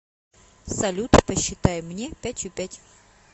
салют посчитай мне пятью пять